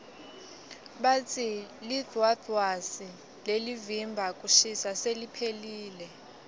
batsi lidvwadvwasi lelivimba kushisa seliphelile